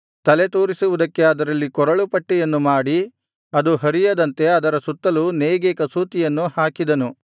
ತಲೆತೂರಿಸುವುದಕ್ಕೆ ಅದರಲ್ಲಿ ಕೊರಳು ಪಟ್ಟಿಯನ್ನು ಮಾಡಿ ಅದು ಹರಿಯದಂತೆ ಅದರ ಸುತ್ತಲೂ ನೇಯ್ಗೆ ಕಸೂತಿಯನ್ನು ಹಾಕಿದನು